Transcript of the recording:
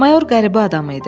Mayor qəribə adam idi.